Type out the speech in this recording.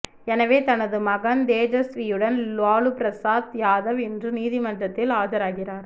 எனவே தமது மகன் தேஜஸ்வியுடன் லாலுபிரசாத் யாதவ் இன்று நீதிமன்றத்தில் ஆஜராகிறார்